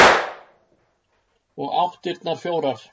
Og áttirnar fjórar.